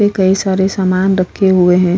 कई सारे सामान रखे हुए है।